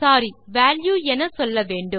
சோரி value என சொல்லவேண்டும்